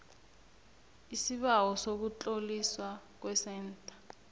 isibawo sokutloliswa kwesentha